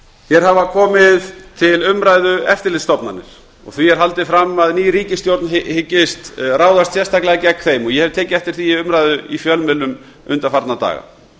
hér hafa komið til umræðu eftirlitsstofnanir því er haldið fram að ný ríkisstjórn hyggist ráðast sérstaklega gegn þeim ég hef tekið eftir því í umræðu í fjölmiðlum undanfarna dag